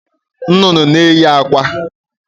Nnụnụ n'eyị akwa